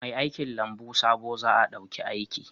Mai aikin lambu sabo za a dauki aiki